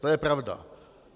To je pravda.